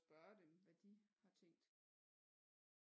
Spørge dem hvad de har tænkt